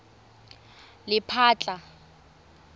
lephatla